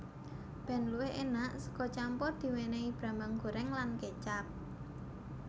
Ben luwih enak sega campur diwenehi brambang goreng lan kecap